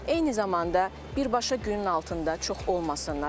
Eyni zamanda birbaşa günün altında çox olmasınlar.